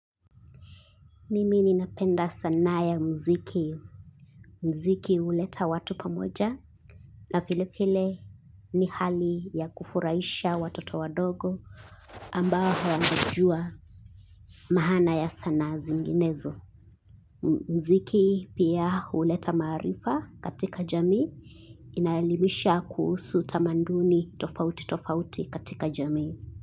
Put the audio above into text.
Mimi ni napenda sanaa ya muziki. Muziki huleta watu pamoja. Na vile vile ni hali ya kufurahisha watoto wadogo ambao hawajajua maana ya sanaa zinginezo. Muziki pia huleta maarifa katika jamii. Inaelimisha kuhusus tamanduni tofauti tofauti katika jamii.